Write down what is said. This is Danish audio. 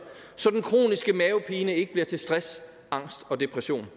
så den kroniske mavepine ikke bliver til stress angst og depression